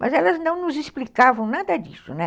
Mas elas não nos explicavam nada disso, né?